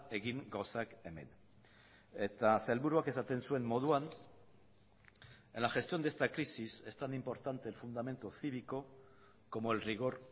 egin gauzak hemen eta sailburuak esaten zuen moduan en la gestión de esta crisis es tan importante el fundamento cívico como el rigor